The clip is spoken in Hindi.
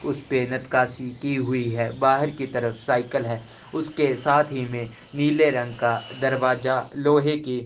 उस पैण्त कासी की हुई है बाहर की तरफ साइकल है उसके साथी ही में नीले रंग का दरवाजा लोहै के --